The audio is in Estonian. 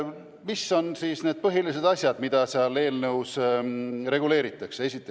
Mis on need põhilised asjad, mida selles eelnõus reguleeritakse?